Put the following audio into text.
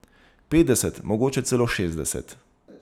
Petdeset, mogoče celo šestdeset.